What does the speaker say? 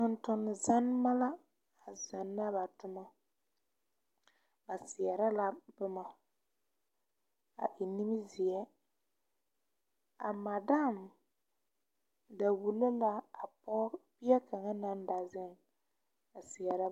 Tontonne zanneba la a zanna ba toma ba seɛrɛ la boma a e nimizeɛ a madam da wulo la pɔge bie kaŋa naŋ da ba zeŋ a seɛrɛ.